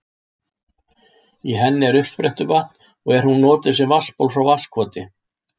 Í henni er uppsprettuvatn og er hún notuð sem vatnsból frá Vatnskoti.